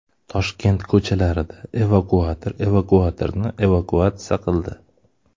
Toshkent ko‘chalarida evakuator evakuatorni evakuatsiya qildi.